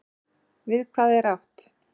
Við hvað er átt?